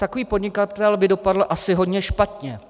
Takový podnikatel by asi dopadl hodně špatně.